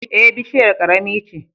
Eh, bushiyar ƙarami ce.